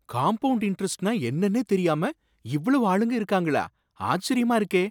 Compound இன்டெரெஸ்ட்னா என்னன்னே தெரியாம இவ்வளவு ஆளுங்க இருக்காங்களா! ஆச்சரியமா இருக்கே!